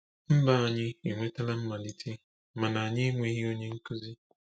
“Mba anyị e nwetala mmalite mana anyị enweghị onye nkuzi.”